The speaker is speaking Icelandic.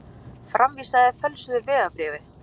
Framvísaði fölsuðu vegabréfi